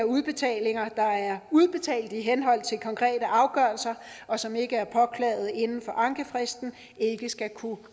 udbetalinger der er udbetalt i henhold til konkrete afgørelser og som ikke er påklaget inden for ankefristen ikke skal kunne